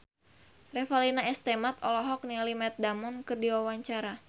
Revalina S. Temat olohok ningali Matt Damon keur diwawancara